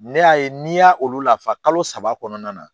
Ne y'a ye n'i y'a olu lafa kalo saba kɔnɔna na